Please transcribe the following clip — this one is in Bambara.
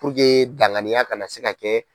Puruke danganiya kana se ka kɛ